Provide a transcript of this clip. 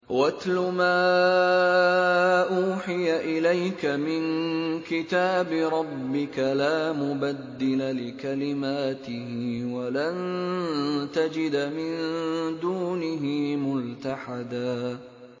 وَاتْلُ مَا أُوحِيَ إِلَيْكَ مِن كِتَابِ رَبِّكَ ۖ لَا مُبَدِّلَ لِكَلِمَاتِهِ وَلَن تَجِدَ مِن دُونِهِ مُلْتَحَدًا